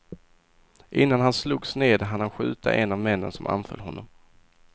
Innan han slogs ned hann han skjuta en av männen som anföll honom.